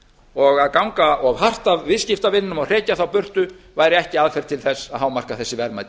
og að ganga of hart að viðskiptavinum og hrekja þá burtu væri ekki aðferð til að hámarka þessi verðmæti